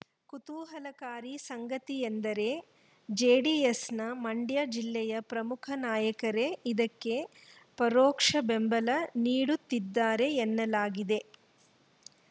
ಕುತೂಹಲಕಾರಿ ಸಂಗತಿಯೆಂದರೆ ಜೆಡಿಎಸ್‌ನ ಮಂಡ್ಯ ಜಿಲ್ಲೆಯ ಪ್ರಮುಖ ನಾಯಕರೇ ಇದಕ್ಕೆ ಪರೋಕ್ಷ ಬೆಂಬಲ ನೀಡುತ್ತಿದ್ದಾರೆ ಎನ್ನಲಾಗಿದೆ